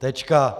Tečka.